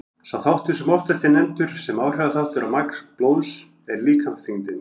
Sá þáttur sem oftast er nefndur sem áhrifaþáttur á magn blóðs er líkamsþyngdin.